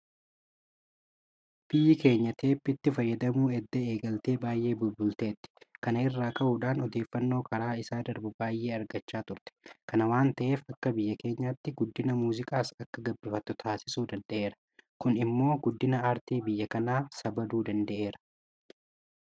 Biyyi keenya Teebbiitti fayyadamuu edda eegaltee baay'ee bubbulteetti. Kana irraa ka'uudhaan Odeeffannoo karaa isaa darbu baay'ee argachaa turte. Kana waanta ta'eef akka biyya keenyaatti guddina muuziqaas akka gabbifattu taasisuu danda'eera. Kun immoo guddina aartii biyya kanaa sabaluu danda'eera.